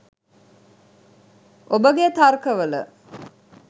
ඔබගේ තර්ක වල